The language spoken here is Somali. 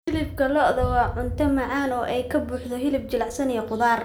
Hilibka lo'da waa cunto macaan oo ay ka buuxaan hilib jilicsan iyo khudaar.